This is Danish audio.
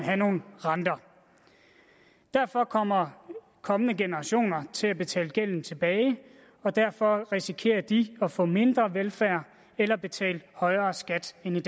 have nogle renter derfor kommer kommende generationer til at betale gælden tilbage og derfor risikerer de at få mindre velfærd eller betale en højere skat end vi